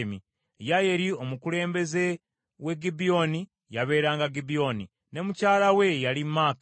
Yeyeri omukulembeze we Gibyoni yabeeranga Gibyoni, ne mukyala we ye yali Maaka.